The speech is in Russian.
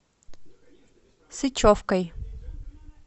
сычевкой